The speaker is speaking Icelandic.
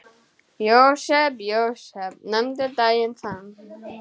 Jósep, Jósep, nefndu daginn þann.